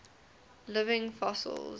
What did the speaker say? living fossils